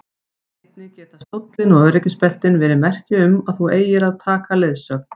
Einnig geta stóllinn og öryggisbeltin verið merki um að þú eigir að taka leiðsögn.